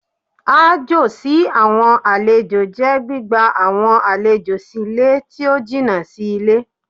Aájò sí àwọn àlejò jẹ́ gbígba àwọn àlejò sí ilé tí ó jìnà sí ilé.